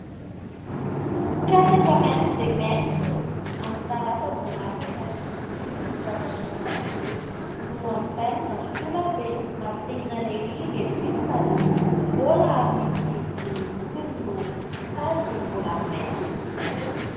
Katsaka maitso dia maitso, amin'ny talata vao masaka. Inona ny zavatra mampiomehy? Lohan'ny bainina sola be! Mampitia ihinana ery ireto izy, sady mbola misy volomboliny no sady mbola maitso ny tontolo.